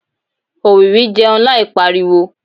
òwìwí jẹun láì pariwo